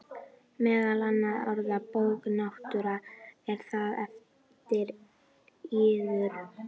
Meðal annarra orða: Bók náttúrunnar,- er það eftir yður?